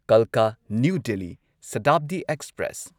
ꯀꯜꯀꯥ New Delhi ꯁꯇꯥꯕꯗꯤ express